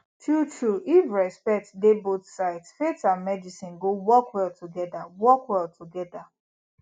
truetrue if respect dey both sides faith and medicine go work well together work well together